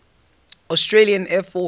australian air force